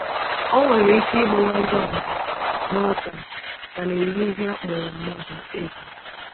O nwere ike ịgbawa ngwa ngwa nuklia ka na-eyi ihe a kpọrọ mmadụ egwu.